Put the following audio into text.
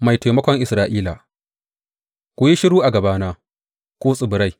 Mai taimakon Isra’ila Ku yi shiru a gabana, ku tsibirai!